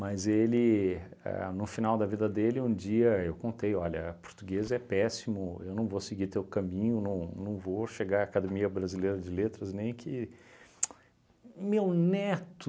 ele, a no final da vida dele, um dia eu contei, olha, português é péssimo, eu não vou seguir teu caminho, não não vou chegar à Academia Brasileira de Letras nem que... tsc meu neto